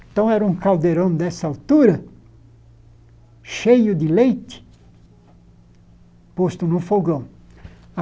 Então, era um caldeirão dessa altura, cheio de leite, posto no fogão.